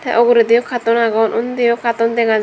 ta ogoredey eyo katun agone ondi eyo katun dega jai.